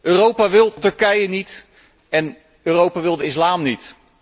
Europa wil Turkije niet en Europa wil de islam niet.